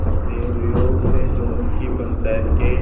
दैवयोग से जुम्मन की पंचायत के